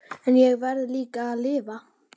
En ég verð líka að lifa.